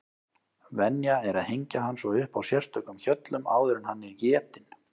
Venja er að hengja hann svo upp á sérstökum hjöllum áður en hann er étinn.